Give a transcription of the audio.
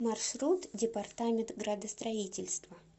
маршрут департамент градостроительства